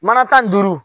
Mana tan duuru